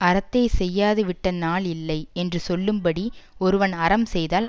அறத்தை செய்யாது விட்ட நாள் இல்லை என்று சொல்லும்படி ஒருவன் அறம் செய்தால்